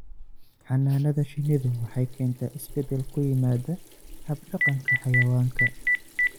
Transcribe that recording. Xannaanada shinnidu waxay keentaa isbeddel ku yimaada hab-dhaqanka xayawaanka.